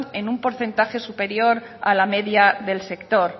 en un porcentaje superior a la media del sector